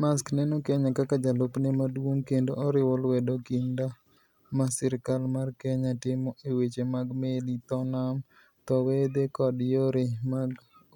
Maersk neno Kenya kaka jalupne maduong' kendo oriwo lwedo kinda ma sirkal mar Kenya timo e weche mag meli, dho nam, dho wedhe kod yore mag